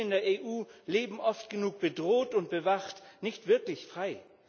Juden in der EU leben oft genug bedroht und bewacht, nicht wirklich frei.